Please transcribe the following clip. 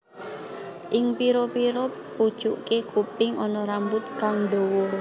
Ing pira pira pucuke kuping ana rambut kang dawa